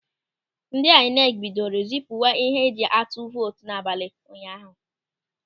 Ndị aịnekị bidoro zipuwa ihe eji atụ vootu n'abalị ụnyaahụ.